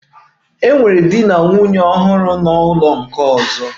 E nwere di na nwunye ọhụrụ n'ụlọ nke ọzọ